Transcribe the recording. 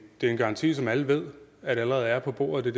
det er en garanti som alle ved allerede er på bordet det